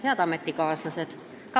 Head ametikaaslased!